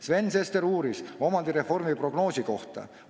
Sven Sester uuris omandireformi prognoosi kohta.